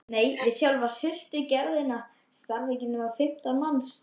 Nei, við sjálfa sultugerðina starfa ekki nema fimmtán manns